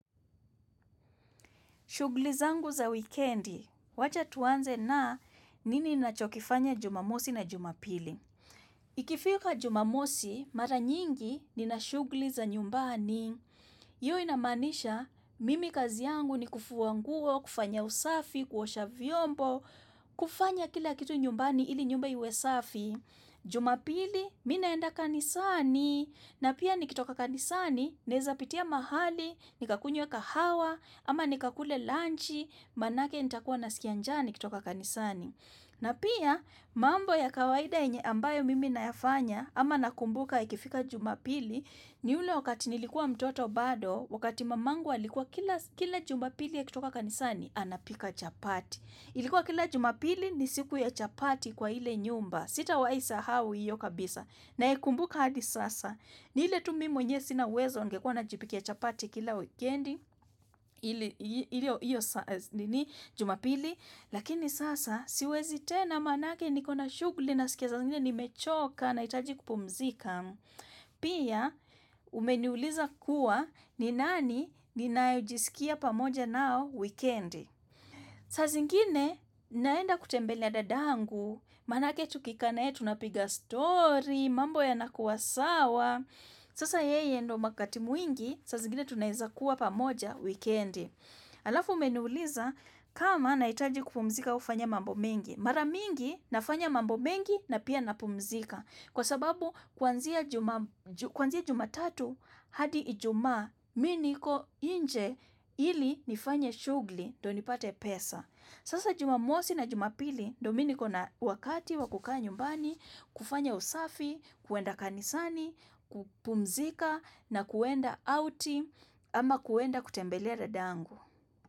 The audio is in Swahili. Shugli zangu za weekendi, wacha tuanze na nini inachokifanya jumamosi na jumapili. Ikifika jumamosi, mara nyingi nina shugli za nyumbani. Hiyo inamaanisha, mimi kazi yangu ni kufua nguo, kufanya usafi, kuosha vyombo, kufanya kila kitu nyumbani ili nyumba iwe safi. Jumapili, mii naenda kanisani na pia nikitoka kanisani, naeza pitia mahali, nikakunywe kahawa, ama nikakule lanchi, manake nitakuwa naskia njaa nikitoka kanisani na pia, mambo ya kawaida yenye ambayo mimi nayafanya ama nakumbuka ikifika jumapili, ni ule wakati nilikuwa mtoto bado wakati mamangu alikuwa kila jumapili akitoka kanisani, anapika chapati. Ilikuwa kila jumapili ni siku ya chapati kwa ile nyumba. Sitawahi sahau hiyo kabisa. Naikumbuka hadi sasa. Ni ile tu mimi mwenyewe sina uwezo ningekuwa najipikia chapati kila weekendi, hiyo jumapili, lakini sasa siwezi tena manake niko na shughuli naskia saa zingine nimechoka nahitaji kupumzika. Pia, umeniuliza kuwa, ni nani ninae jisikia pamoja nao weekendi. Saa zingine naenda kutembelea dadangu, manake tukikaa na yeye tunapiga story, mambo yanakuwa sawa, sasa yeye ndo wakati mwingi, saa zingine tunaweza kuwa pamoja weekendi. Alafu umeniuliza kama nahitaji kupumzika kufanya mambo mengi. Mara mingi nafanya mambo mengi na pia napumzika. Kwa sababu kwanzia jumatatu hadi ijumaa mii niko inje ili nifanye shughuli ndio nipate pesa. Sasa jumamosi na jumapili ndo mii niko na wakati wa kukaa nyumbani, kufanya usafi, kuenda kanisani, kupumzika na kuenda outi ama kuenda kutembelea dadangu.